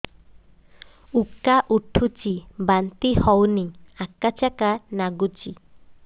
ଉକା ଉଠୁଚି ବାନ୍ତି ହଉନି ଆକାଚାକା ନାଗୁଚି